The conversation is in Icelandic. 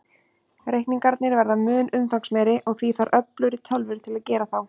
Reikningarnir verða mun umfangsmeiri, og því þarf öflugri tölvur til að gera þá.